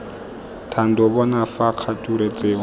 thando bona fa kgature tseo